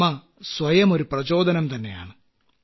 അമ്മ സ്വയം ഒരു പ്രചോദനം തന്നെയാണ്